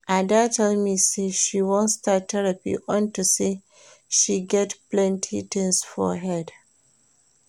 Ada tell me say she wan start therapy unto say she get plenty things for head